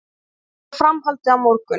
Mótinu verður framhaldið á morgun